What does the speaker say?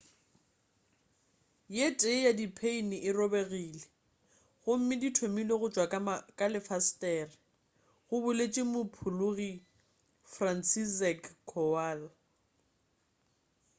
ye tee ya di pheini e robegile gomme di thomile go tšwa ka lefesetere go boletše mophologi franciszek kowal